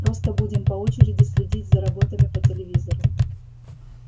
просто будем по очереди следить за работами по телевизору